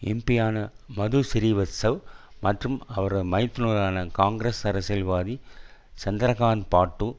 எம்பியான மது சிறீவத்சவ் மற்றும் அவரது மைத்துனரான காங்கிரஸ் அரசியல்வாதி சந்திரகாந்த் பாட்டு